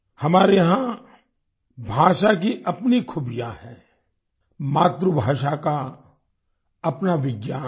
हमारे यहाँ भाषा की अपनी खूबियाँ हैं मातृभाषा का अपना विज्ञान है